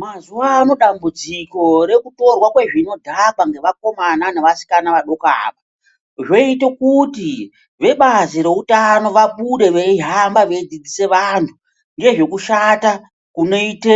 Mazuva ano dambudziko rekutorwa kwezvinodhaka ngevakomana nevasikana vadoko ava. Zvoite kuti vebazi reutano vabude veihamba veidzidzise vantu ngezvekushata kunoite